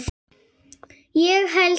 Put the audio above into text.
Ég held það